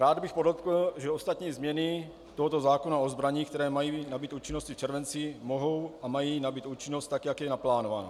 Rád bych podotkl, že ostatní změny tohoto zákona o zbraních, které mají nabýt účinnosti v červenci, mohou a mají nabýt účinnost tak, jak je naplánováno.